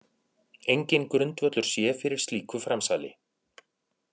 Enginn grundvöllur sé fyrir slíku framsali